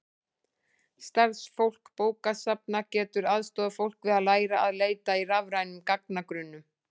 starfsfólk bókasafna getur aðstoðað fólk við að læra að leita í rafrænum gagnagrunnum